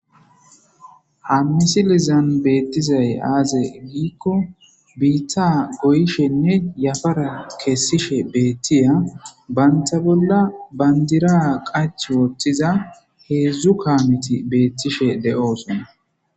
ha misilizan beettizay aaze giikko biitta goyshenne yafara kessishe beettiya banta bolla bandira qach wooththiza heedzdzu kaamiti beettishe de7oosona